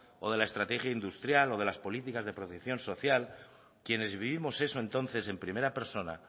o de la estrategia industrial o de las políticas de protección social quienes vivimos eso entonces en primera persona